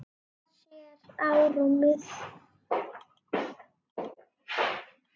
Hallar sér á rúmið.